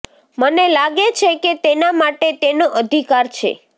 મને લાગે છે કે તેના માટે તેનો અધિકાર છે